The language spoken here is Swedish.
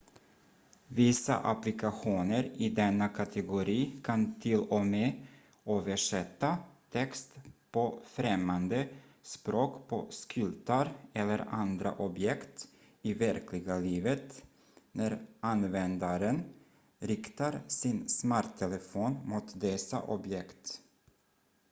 vissa applikationer i denna kategori kan till och med översätta text på främmande språk på skyltar eller andra objekt i verkliga livet när användaren riktar sin smarttelefon mot dessa objekt